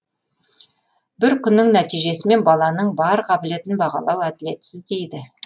бір күннің нәтижесімен баланың бар қабілетін бағалау әділетсіз дейді